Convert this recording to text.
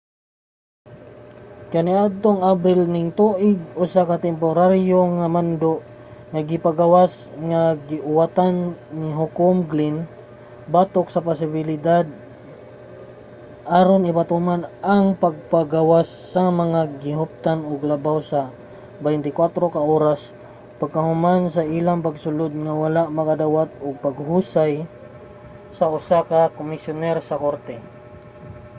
kaniadtong abril ning tuig usa ka temporaryo nga mando ang gipagawas nga giuwatan ni hukom glynn batok sa pasilidad aron ipatuman ang pagpagawas sa mga gihuptan og labaw sa 24 ka oras pagkahuman sa ilang pagsulod nga wala makadawat og paghusay sa usa ka komisyoner sa korte